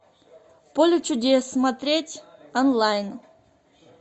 поле чудес смотреть онлайн